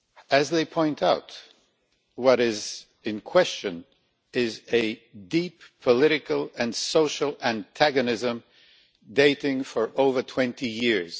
As they point out, what is in question is a deep political and social antagonism dating back over 20 years.